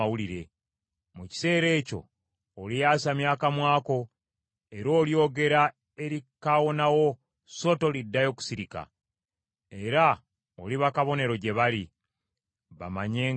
Mu kiseera ekyo olyasamya akamwa ko, era olyogera eri kaawonawo so toliddayo kusirika. Era oliba kabonero gye bali, bamanye nga nze Mukama .”